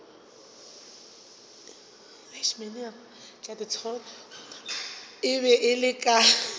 e be e le ka